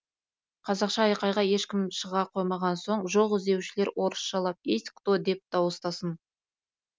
қазақша айқайға ешкім шыға қоймаған соң жоқ іздеушілер орысшалап есть кто деп дауыстасын